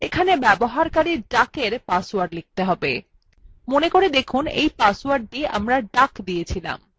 এখানে ব্যবহারকারী duckএর পাসওয়ার্ড লিখতে হবে মনে করে দেখুন এই পাসওয়ার্ডটিও duck ছিল